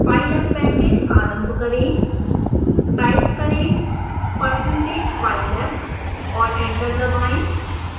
pylab package आरंभ करें